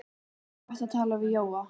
Það var gott að tala við Jóa.